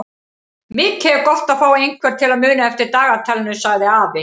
Mikið er gott að fá einhvern til að muna eftir dagatalinu sagði afi.